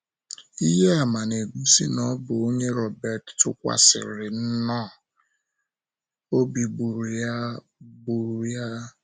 Ihe àmà na - egosi na ọ bụ onye Robert tụkwasịrị nnọọ obi gburu ya gburu ya.